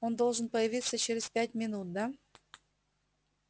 он должен появиться через пять минут да